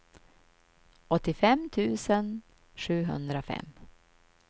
åttiofem tusen sjuhundrafem